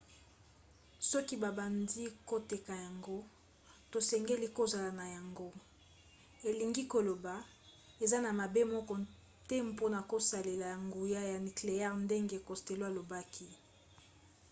soki babandi koteka yango tosengeli kozala na yango. elingi koloba eza na mabe moko te mpona kosalela nguya ya nikleyere ndenge costello alobaki